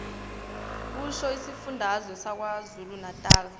kusho isifundazwe sakwazulunatali